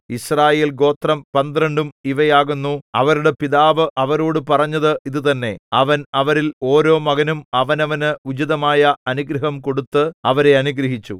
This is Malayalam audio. യിസ്രായേൽ ഗോത്രം പന്ത്രണ്ടും ഇവ ആകുന്നു അവരുടെ പിതാവ് അവരോടു പറഞ്ഞത് ഇതുതന്നെ അവൻ അവരിൽ ഓരോ മകനും അവനവന് ഉചിതമായ അനുഗ്രഹം കൊടുത്ത് അവരെ അനുഗ്രഹിച്ചു